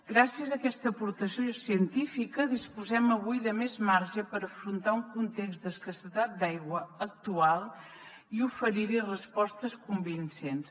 gràcies a aquesta aportació científica disposem avui de més marge per afrontar un context d’escassetat d’aigua actual i oferir hi respostes convincents